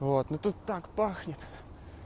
вот ну тут так пахнет